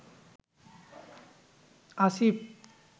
Asif